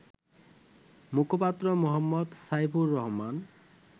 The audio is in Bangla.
মুখপাত্র মো. সাইফুর রহমান